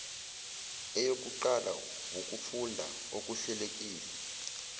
eyokuqala wukufunda okuhlelekile